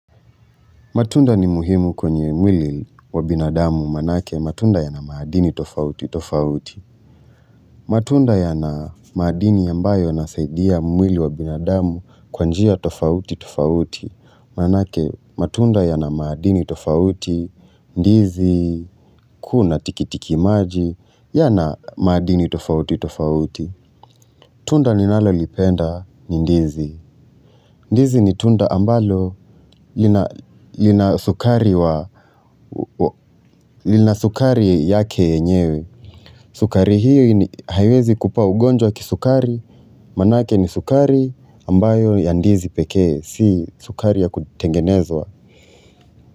Matunda ni muhimu kwenye mwili wa binadamu maanake matunda yana madini tofauti tofauti. Matunda yana madini ambayo yanasaidia mwili wa binadamu kwa njia tofauti tofauti. Maanake matunda yana madini tofauti, ndizi, kuna tikitiki maji, yana madini tofauti tofauti. Tunda ninalolipenda ni ndizi. Ndizi ni tunda ambalo lina lina sukari yake yenyewe. Sukari hiyo haiwezi kupa ugonjwa wa kisukari, maanake ni sukari ambayo ya ndizi pekee, si sukari ya kutengenezwa.